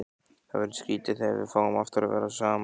Það verður skrýtið þegar við fáum aftur að vera saman.